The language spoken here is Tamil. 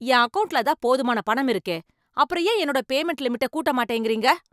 என் அக்கவுண்ட்ல தான் போதுமான பணம் இருக்கே, அப்பறம் ஏன் என்னோட பேமண்ட் லிமிட்ட கூட்ட மாட்டேங்கறீங்க?